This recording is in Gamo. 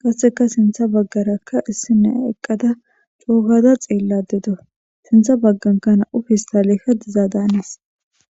qasseka sintha baggarakka issine eqqada coogaza xeelladedo sintha bagganka na7u fistaleka dizaa daanis